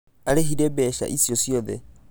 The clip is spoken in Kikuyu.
Aarĩhire mbeca icio ciothe.